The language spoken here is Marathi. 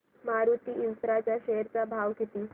मारुती इन्फ्रा च्या शेअर चा भाव किती